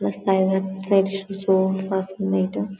June first meeting .